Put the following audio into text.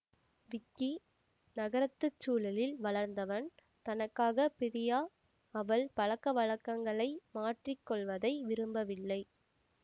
விக்கி நகரத்து சூழலில் வளர்ந்தவன் தனக்காக பிரியா அவள் பழக்கவழக்கங்களை மாற்றி கொள்வதை விரும்பவில்லை